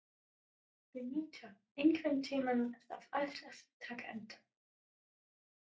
Beníta, einhvern tímann þarf allt að taka enda.